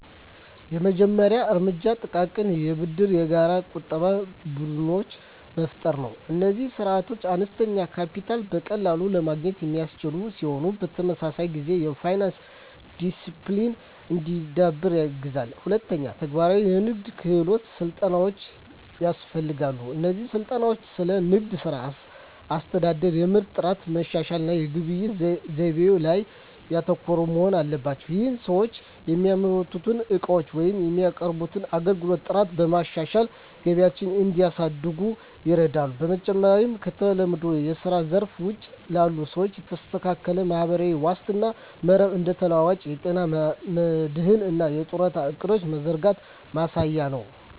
የመጀመሪያው እርምጃ ጥቃቅን የብድርና የጋራ ቁጠባ ቡድኖችን መፍጠር ነው። እነዚህ ስርዓቶች አነስተኛ ካፒታልን በቀላሉ ለማግኘት የሚያስችሉ ሲሆን፣ በተመሳሳይ ጊዜ የፋይናንስ ዲሲፕሊን እንዲዳብር ያግዛሉ። ሁለተኛ፣ ተግባራዊ የንግድ ክህሎት ስልጠናዎች ያስፈልጋሉ። እነዚህ ስልጠናዎች ስለ ንግድ ሥራ አስተዳደር፣ የምርት ጥራት ማሻሻያ እና የግብይት ዘይቤዎች ላይ ያተኮሩ መሆን አለባቸው። ይህም ሰዎች የሚያመርቱትን ዕቃዎች ወይም የሚያቀርቡትን አገልግሎት ጥራት በማሻሻል ገቢያቸውን እንዲያሳድጉ ይረዳቸዋል። በመጨረሻም፣ ከተለመደው የስራ ዘርፍ ውጪ ላሉ ሰዎች የተስተካከለ ማህበራዊ ዋስትና መረብ (እንደ ተለዋዋጭ የጤና መድህን እና የጡረታ ዕቅዶች) መዘርጋት ወሳኝ ነው።